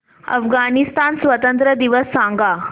अफगाणिस्तान स्वातंत्र्य दिवस सांगा